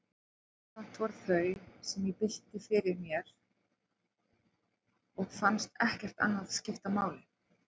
Samt voru það þau, sem ég bylti fyrir mér, og fannst ekkert annað skipta máli.